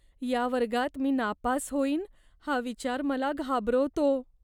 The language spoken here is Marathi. या वर्गात मी नापास होईन हा विचार मला घाबरवतो.